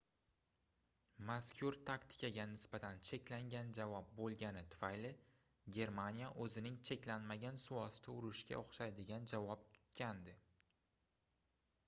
mazkur taktikaga nisbatan cheklangan javob boʻlgani tufayli germaniya oʻzining cheklanmagan suvosti urushiga oʻxshaydigan javob kutgandi